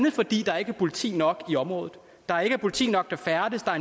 er fordi der ikke er politi nok i området der ikke er politi nok der færdes og